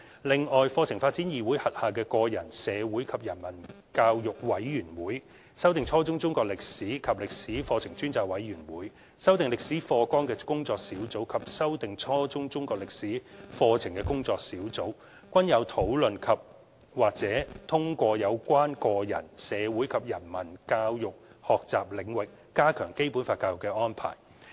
此外，課程發展議會轄下的個人、社會及人文教育委員會、修訂初中中國歷史及歷史課程專責委員會、修訂初中歷史課程工作小組及修訂初中中國歷史課程工作小組均有討論及/或通過有關個人、社會及人文教育學習領域加強《基本法》教育的安排。